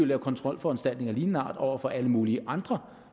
lave kontrolforanstaltninger af lignende art over for alle mulige andre